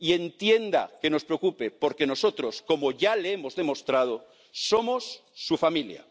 Y entienda que nos preocupe, porque nosotros, como ya le hemos demostrado, somos su familia.